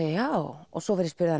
já svo var ég spurð